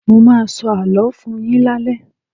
Mo ma sọ àló fún-un yín lale.